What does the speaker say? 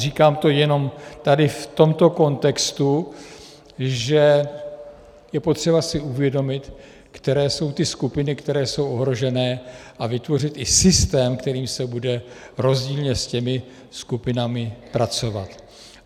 Říkám to jenom tady v tomto kontextu, že je potřeba si uvědomit, které jsou ty skupiny, které jsou ohrožené, a vytvořit i systém, kterým se bude rozdílně s těmi skupinami pracovat.